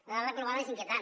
la dada global és inquietant